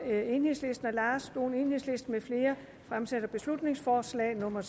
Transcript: og lars dohn beslutningsforslag nummer